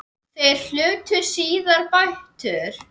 Þeir hlutu síðar bætur.